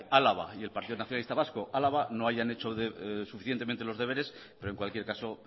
álava y el partido nacionalista vasco álava no hayan hecho suficientemente los deberes pero en cualquier caso